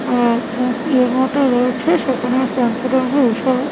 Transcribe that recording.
আহ এই মতো রয়েছে সেখানে শ্যাম্পু ট্যাম্পু এসব --